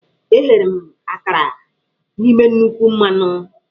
Eghere m akara n'ime nnukwu mmanụ.